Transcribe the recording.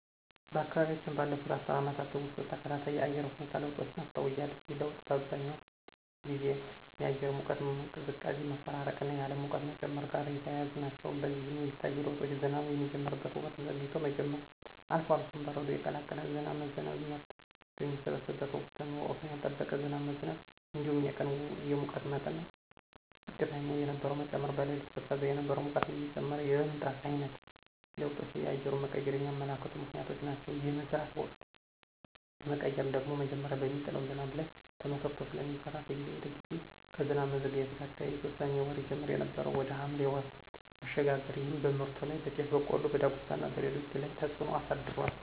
በአካባቢያችን ባለፉት አስርት ዓመታት ውስጥ ተከታታይ የአየር ሁኔታ ለውጦችን አስተውያለሁ። ይህ ለውጥ በአብዛኛው ጊዜ የአየር ሙቀትና ቅዝቃዜ መፈራረቅና የዓለም ሙቀት መጨመር ጋር የተያያዙ ናቸው። በዚህም የሚታዩ ለውጦች ዝናብ የሚጀምርበት ወቅት ዘግይቶ መጀመር፣ አልፎ አልፎም በረዶ የቀላቀለ ዝናብ መዝነብ፣ ምርት በሚሰበሰብበት ወቅት ወቅቱን ያልጠበቀ ዝናብ መዝነብ እንዲሁም የቀን የሙቀት መጠን ዝቅተኛ የነበረው መጨመር፣ በሌሊት ቀዝቃዛ የነበረው ሙቀት እየጨመረ የመምጣት ዓይነት ለውጦች የአየሩን መቀየር የሚያመለክቱ ምክንያቶች ናቸው። የመዝራት ወቅት መቀየር ደግሞ መጀመሪያ በሚጥለው ዝናብ ላይ ተመስርቶ ስለሚዘራ ከጊዜ ወደ ጊዜ ከዝናብ መዘግየት ጋር ተያይዞ ሰኔ ወር ይጀመር የነበረው ወደ ሐምሌ ወር መሸጋገር ይህም በምርቱ ላይ (በጤፍ፣ በቆሎ፣ በዳጉሳና በሌሎችም) ላይ ተፅዕኖ አሳድሯል።